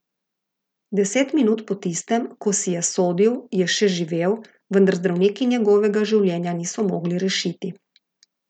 Deset minut po tistem, ko si je sodil, je še živel, vendar zdravniki njegovega življenja niso mogli rešiti.